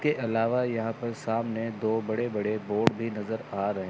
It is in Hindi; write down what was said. इसके अलावा यहां पर सामने दो बड़े बड़े बोर्ड भी नजर आ रहे--